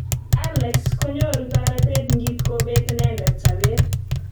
Allex konyoru toretet ngitkobet inendet sabet.